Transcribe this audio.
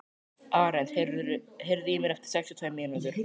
Arent, heyrðu í mér eftir sextíu og tvær mínútur.